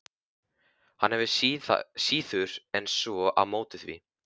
Hann hefur síður en svo á móti því.